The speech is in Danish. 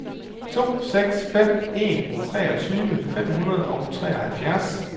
to seks fem en treogtyve fem hundrede og treoghalvfjerds